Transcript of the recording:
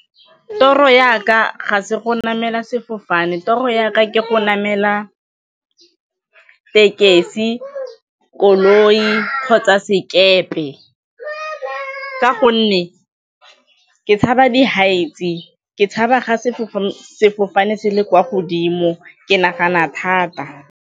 Toro ya ka ga se go namela sefofane, toro ya ka ke go namela tekesi, koloi kgotsa sekepe ka gonne ke tshaba di-heights-e, ke tshaba ga sefofane se le kwa godimo, ke nagana thata.